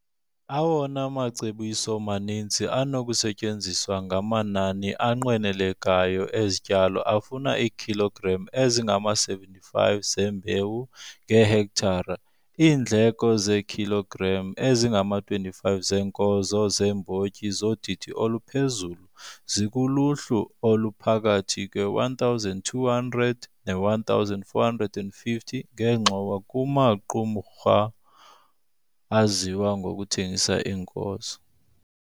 Awona macebiso maninzi anokusetyenziswa ngamanani anqwenelekayo ezityalo afuna iikhilogram ezingama-75 zembewu ngehektare. Iindleko ngeekhilogram ezingama-25 zeenkozo zeembotyi zodidi oluphezulu zikuluhlu oluphakathi kwe-R1 200 ne-R1 450 ngengxowa kumaqumrha aziwa ngokuthengisa iinkozo.